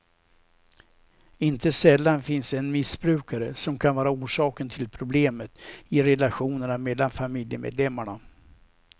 Inte sällan finns en missbrukare som kan vara orsaken till problemet i relationerna mellan familjemedlemmarna.